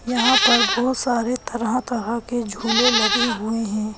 यहां पर बहुत सारे तरह-तरह के झूले लगे हुए है।